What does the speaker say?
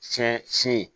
Tiɲɛ si ye